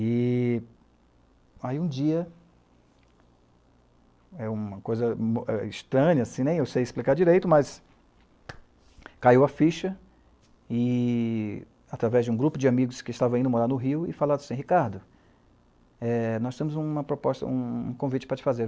E aí, um dia, é uma coisa estranha, eu sei explicar direito, mas caiu a ficha através de um grupo de amigos que estavam indo morar no Rio e falaram assim, ''Ricardo, nós temos uma proposta, um convite para te fazer.''